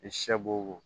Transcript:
I sɛ b'o